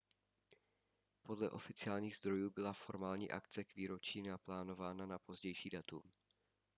podle oficiálních zdrojů byla formální akce k výročí naplánována na pozdější datum